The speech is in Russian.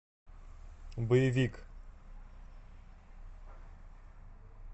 боевик